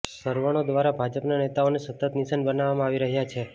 સવર્ણો દવારા ભાજપના નેતાઓને સતત નિશાન બનાવવામાં આવી રહ્યાં છે